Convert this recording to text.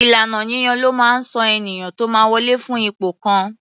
Ìlànà yíyàn ló máa ń sọ ènìyàn tó máa wọlè fún ipò kan.